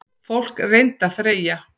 Fólk reyndi að þreyja.